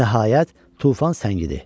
Nəhayət, tufan səngidi.